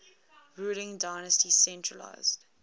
ruling dynasty centralised